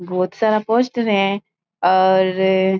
बहुत सारा पोस्टर है और --